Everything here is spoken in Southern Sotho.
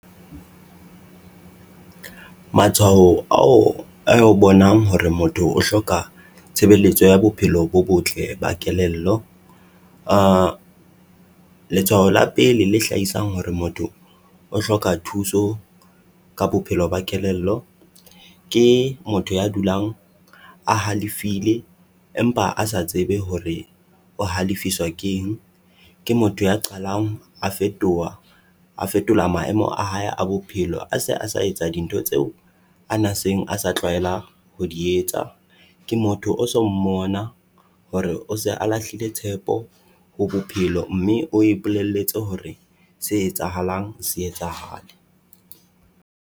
Matshwao ao ao bonang hore motho o hloka tshebeletso ya bophelo bo botle ba kelello. Letshwao la pele le hlahisang hore motho o hloka thuso ka bophelo ba kelello. Ke motho ya dulang a halefile empa a sa tsebe hore o halefiswa keng, ke motho ya qalang a fetoha, a fetola maemo a hae a bophelo a se a sa etsa dintho tseo a na seng a sa tlwaela ho di etsa. Ke motho o so mmona hore o se a lahlile tshepo ho bophelo mme o ipolelletse hore se etsahalang se etsahale.